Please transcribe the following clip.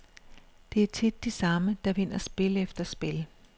Det er tit de samme, der vinder spil efter spil.